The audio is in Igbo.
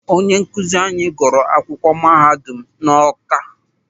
Onye nkụzi anyị gụrụ akwụkwọ mahadum n'Ọ́ká.